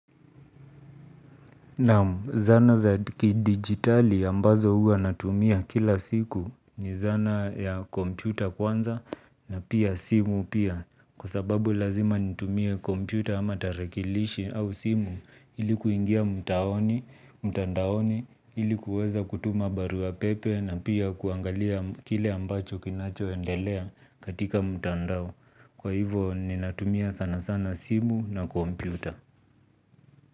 Naam, zana za kidigitali ambazo huwa natumia kila siku, ni zana ya kompyuta kwanza. Na pia simu pia. Kwa sababu lazima nitumie kompyuta ama tarakilishi au simu, ili kuingia mtandaoni, ili kuweza kutuma barua pepe na pia kuangalia kile ambacho kinachoendelea katika mtandao. Kwa hivo, ninatumia sana sana simu na kompyuta.